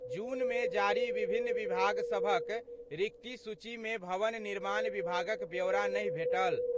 जून मे जारी विभिन्न विभाग सभक रिक्ति सूची मे भवन निर्माण विभागक ब्योरा नहि भेटल।